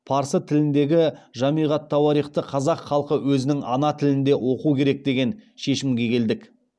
парсы тіліндегі жамиғ ат тауарихты қазақ халқы өзінің ана тілінде оқу керек деген шешімге келдік